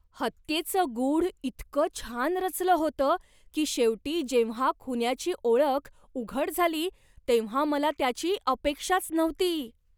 हत्येचं गूढ इतकं छान रचलं होतं की शेवटी जेव्हा खुन्याची ओळख उघड झाली तेव्हा मला त्याची अपेक्षाच नव्हती.